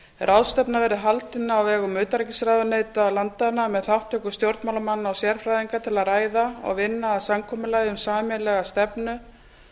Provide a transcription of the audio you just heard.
ráðstefna verði haldin á vegum utanríkisráðuneyta landanna með þátttöku stjórnmálamanna og sérfræðinga til að ræða og vinna að samkomulagi um sameiginlega stefnu